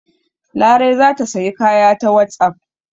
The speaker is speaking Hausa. Larai za ta sayi kaya ta wasapp.